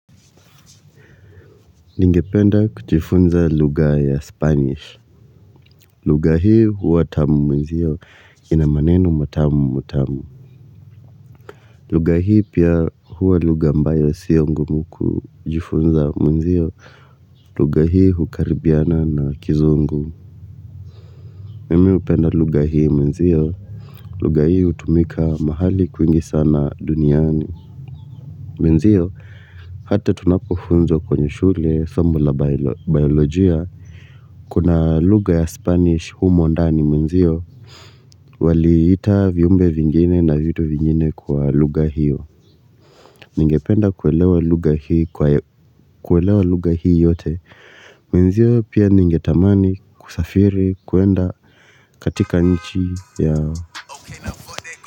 Ningependa kujifunza luga ya spanish. Luga hii huwa tamu mnzio. Ina maneno matamu matamu. Luga hii pia huwa luga ambayo sio ngumu kujifunza mnzio. Luga hii hukaribiana na kizungu. Mimi upenda luga hii mnzio. Luga hii utumika mahali kwingi sana duniani. Mwenzio, hata tunapofunwa kwenye shule, somo la biolojia, kuna luga ya spanish humo ndani mwenzio, waliita viumbe vingine na vitu vingine kwa luga hiyo, ningependa kuelewa luga hii yote, menzio pia ninge tamani kusafiri kuenda katika nchi yao.